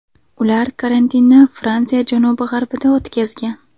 Ular karantinni Fransiya janubi-g‘arbida o‘tkazgan.